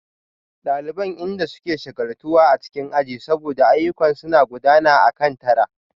Daliban inda suke shagaltuwa a cikin aji saboda ayyukan suna gudana akan tara